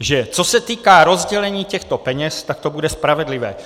že co se týká rozdělení těchto peněz, tak to bude spravedlivé.